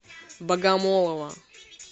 богомолова